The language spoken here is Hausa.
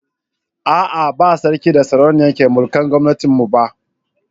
ah ah ba sarki da sarauniya ke mulkar gomnatin mu ba